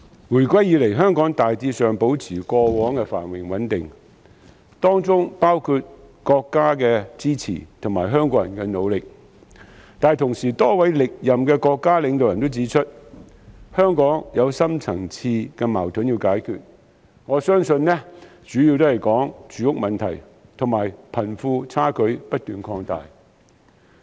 回歸以來，香港大致上保持過往的繁榮穩定，當中有賴國家的支持和香港人的努力，但與此同時，多位歷任國家領導人均指出，香港有深層次矛盾需要解決，相信所指的主要是住屋問題和貧富差距不斷擴大。